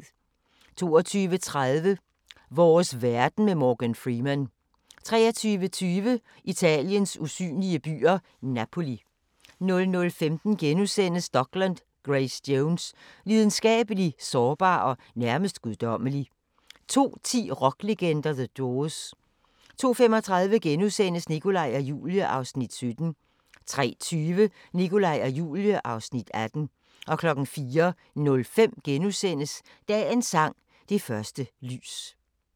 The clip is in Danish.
22:30: Vores verden med Morgan Freeman 23:20: Italiens usynlige byer – Napoli 00:15: Dokland: Grace Jones – Lidenskabelig, sårbar og nærmest guddommelig * 02:10: Rocklegender - The Doors 02:35: Nikolaj og Julie (Afs. 17)* 03:20: Nikolaj og Julie (Afs. 18) 04:05: Dagens sang: Det første lys *